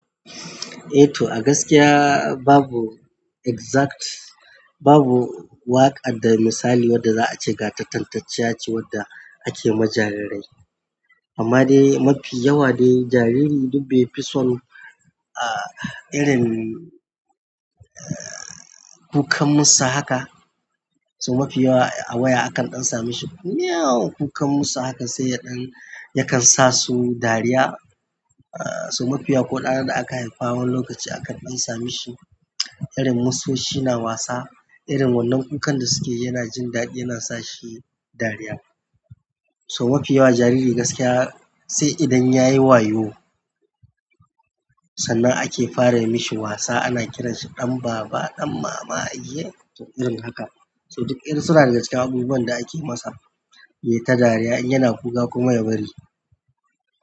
Eh to, a gaskiya babu exact, babu waƙa da misali wadda za a ce ga ta tantacciya ce wadda ake ma jarirai. Amma dai mafi yawa dai jariri duk bai fi son, ah, irin kukan musa haka, sobmafi yawa a waya akan ɗan sami shi. Mewww kukan mussa haka sai ya ɗan yakan sasu dariya, so mafi yawa ko dana da aka haifa wani lokacin akan ɗan sa mishi irin musosi na wasa irin wannan kukan da sukayi yana jin daɗi yana sashi dariya. So mafi yawa jariri gaskiya sai idan ya yi wayo sannan ake fara yi mashi wasa, ana kiransa ɗan baba, ɗan mama, iye? To irin haka. So duk irin suna daga cikin abubuwan da ake masa yayi ta dariya in yana kuka kuma ya bari.